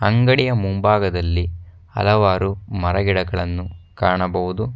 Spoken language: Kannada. ಅಂಗಡಿಯ ಮುಂಭಾಗದಲ್ಲಿ ಹಲವಾರು ಮರ ಗಿಡಗಳನ್ನು ಕಾಣಬಹುದು.